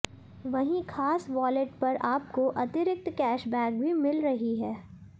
वहीं खास वॉलेट पर आपको अतिरिक्त कैशबैक भी मिल रही है